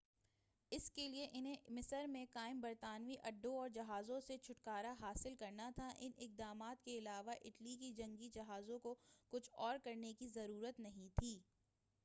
اس کے لیے انہیں مصر میں قائم برطانوی اڈوں اور جہازوں سے چھٹکارہ حاصل کرنا تھا ان اقدامات کے علاوہ اٹلی کے جنگی جہازوں کو کچھ اور کرنے کی ضرورت نہیں تھی